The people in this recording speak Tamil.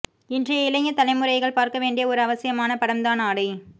இன்றைய இளைய தலைமுறைகள் பார்க்க வேண்டிய ஒரு அவசியமான படம் தான் ஆடை